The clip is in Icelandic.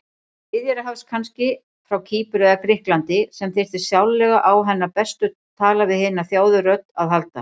Miðjarðarhafs kannski, frá Kýpur eða Grikklandi, sem þyrfti sárlega á hennar bestu tala-við-hina-þjáðu-rödd að halda.